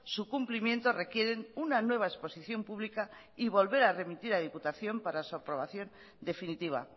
su cumplimiento requieren una nueva exposición pública y volver a remitir a diputación para su aprobación definitiva